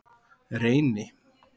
Reyni